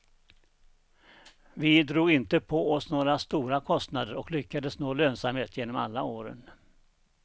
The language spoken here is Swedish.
Vi drog inte på oss några stora kostnader och lyckades nå lönsamhet genom alla åren.